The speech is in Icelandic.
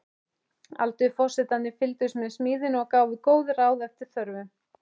Aldursforsetarnir fylgdust með smíðinni og gáfu góð ráð eftir þörfum.